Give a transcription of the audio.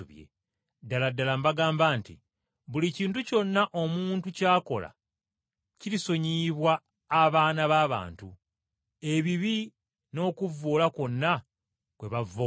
Ddala ddala mbagamba nti buli kintu kyonna omuntu ky’akola kirisonyiyibwa abaana b’abantu, ebibi n’okuvvoola kwonna kwe bavvoola.